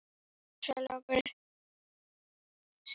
Agnar, Svala og börn.